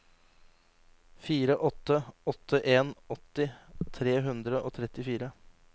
fire åtte åtte en åtti tre hundre og trettifire